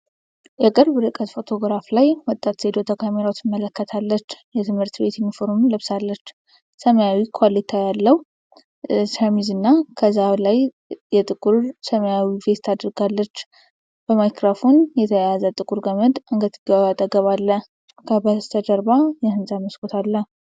የቅርብ ርቀት ፎቶግራፍ ላይ ወጣት ሴት ወደ ካሜራው አቅጣጫ ትመለከታለች። የትምህርት ቤት ዩኒፎርም ለብሳለች። ሰማያዊ ኮሌታ ያለው ሸሚዝ እና ከዛ ላይ የጥቁር ሰማያዊ ቬስት አድርጋለች። በማይክሮፎን የተያያዘ ጥቁር ገመድ አንገትጌዋ አጠገብ አለ። ከበስተጀርባ የህንፃ መስኮት አለ።